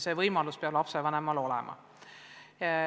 See võimalus peab lapsevanemal olema.